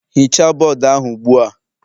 Hichaa bọọdụ ahụ ugbu a.